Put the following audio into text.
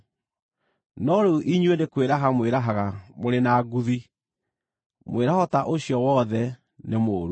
No rĩu inyuĩ nĩ kwĩraha mwĩrahaga mũrĩ na nguthi. Mwĩraho ta ũcio wothe nĩ mũũru.